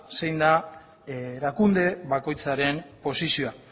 zein den erakunde bakoitzaren posizioa